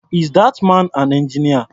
Is that man an engineer?